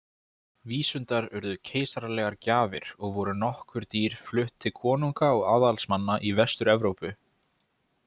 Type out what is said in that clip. Vísundar urðu keisaralegar gjafir og voru nokkur dýr flutt til konunga og aðalsmanna í Vestur-Evrópu.